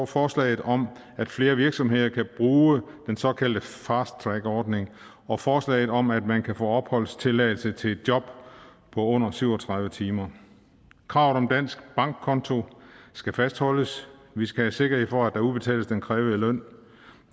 forslaget om at flere virksomheder kan bruge den såkaldte fast track ordning og forslaget om at man kan få opholdstilladelse til et job på under syv og tredive timer kravet om dansk bankkonto skal fastholdes vi skal have sikkerhed for at der udbetales den krævede løn